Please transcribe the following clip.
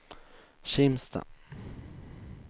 Kimstad